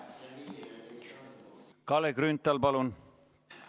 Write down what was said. Kalle Grünthal, palun!